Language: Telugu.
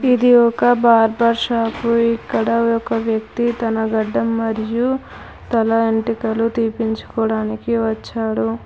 ఇది ఒక బార్బర్ షాప్ ఇక్కడ ఒక వ్యక్తి తన గడ్డం మరియు తల వెంట్రుకలు తీపించుకోవడానికి వచ్చాడు.